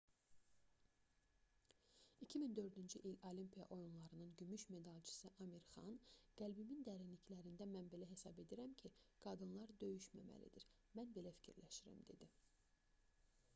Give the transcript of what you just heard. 2004-cü il olimpiya oyunlarının gümüş medalçısı amir xan qəlbimin dərinliklərində mən belə hesab edirəm ki qadınlar döyüşməməlidir mən belə fikirləşirəm dedi